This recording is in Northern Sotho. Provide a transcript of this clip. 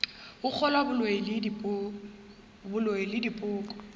go kgolwa boloi le dipoko